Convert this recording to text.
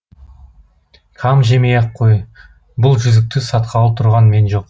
қам жемей ақ қой бұл жүзікті сатқалы тұрған мен жоқ